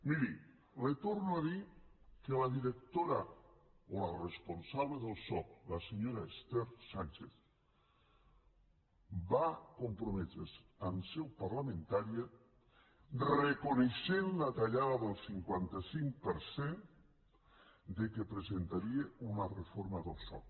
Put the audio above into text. miri li torno a dir que la directora o la responsable del soc la senyora esther sánchez va comprometre’s en seu parlamentària reconeixent la tallada del cinquanta cinc per cent que presentaria una reforma del soc